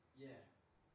Ja